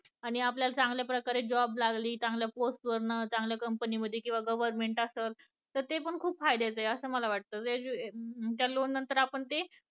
आणि आपल्याला चांगल्या प्रकारे job लागली चांगल्या प्रकारे post वर चांगल्या company मध्ये किंवा government असेल तर ते खूप फायद्याचे आहे असं मला वाटत, त्या लोन नंतर आपण ते